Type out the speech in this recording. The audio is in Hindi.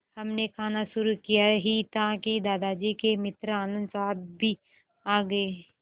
हमने खाना शुरू किया ही था कि दादाजी के मित्र आनन्द साहब भी आ गए